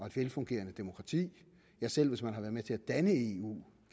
et velfungerende demokrati ja selv hvis man har været med til at danne eu